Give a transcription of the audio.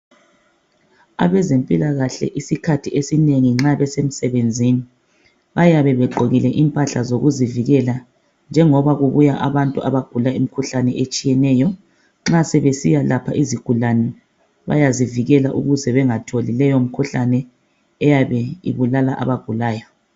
Abezempilakahle isikhathi esinengi nxa besemisebenzini bayabe begqokile impahla zokuzivikela njengoba kubuya abantu abayabe begula imikhuhlane etshiyeneyo nxa sebesiyalapha izigulani bayazivikela ukuze bengatholi leyo mikhuhlane eyabe ibulala abagulayo